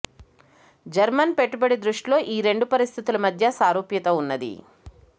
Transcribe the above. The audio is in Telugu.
జర్మన్ పెట్టుబడి దృష్టిలో ఈ రెండు పరిస్థితుల మధ్య సారూప్యత ఉన్నది